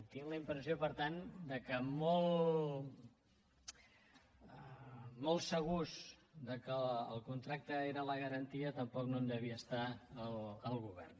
tinc la impressió per tant que molt segur que el contracte era la garantia tampoc no en devia estar el govern